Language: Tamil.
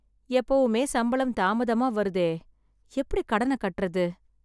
எப்பவுமே சம்பளம் தாமதமா வருதே, எப்படி கடனை கட்டுறது